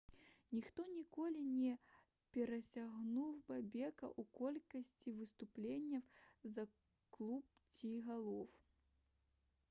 ніхто ніколі не перасягнуў бобека ў колькасці выступленняў за клуб ці галоў